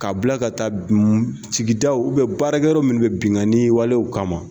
Ka bila ka taa sigidaw baarakɛyɔrɔ munnu be binkanni walew kama